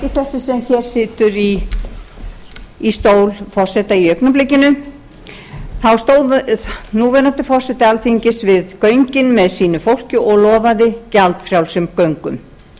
ekki þessi sem situr í stól forseta í augnablikinu þá stóð núverandi forseti alþingis við göngin með sínu fólki og lofaði gjaldfrjálsum göngum